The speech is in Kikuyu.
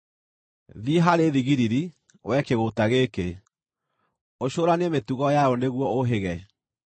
Thiĩ harĩ thigiriri, wee kĩgũũta gĩkĩ; ũcũũranie mĩtugo yayo nĩguo ũũhĩge!